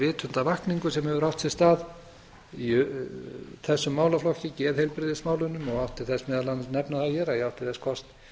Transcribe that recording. vitundarvakningu sem hefur átt sér stað í þessum málaflokki geðheilbrigðismálunum og má nefna hér að ég átti þess kost